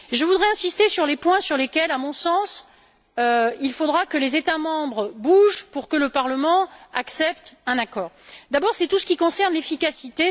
Je voudrais insister sur les points sur lesquels, à mon sens, il faudra que les États membres bougent pour que le Parlement accepte un accord. En premier lieu, il y a tout ce qui concerne l'efficacité.